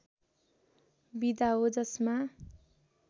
विधा हो जसमा